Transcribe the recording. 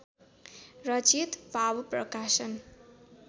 रचित भावप्रकाशन